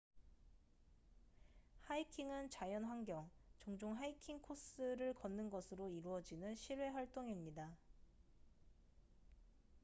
하이킹은 자연환경 종종 하이킹 코스를 걷는 것으로 이루어지는 실외 활동입니다